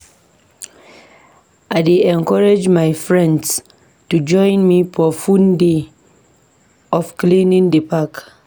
I dey encourage my friends to join me for fun day of cleaning di park.